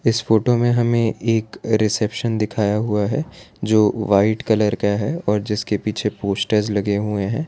इस फोटो में हमें एक रिसेप्शन दिखाया हुआ है जो वाइट कलर का है और जिसके पीछे पोस्टर्स लगे हुए हैं।